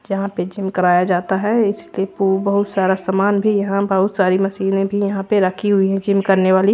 यहां पे जिम कराया जाता है इसके बहुत सारा समान भी यहां बहुत सारी मशीनें भी यहां पे रखी हुई हैं जिम करने वाली।